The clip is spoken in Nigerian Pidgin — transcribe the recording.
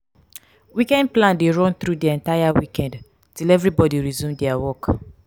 weekend plan de run through di entire weekend till everybody resume their work.